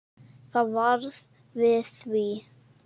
Það varð við því.